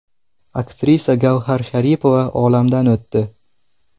Aktrisa Gavhar Sharipova olamdan o‘tdi.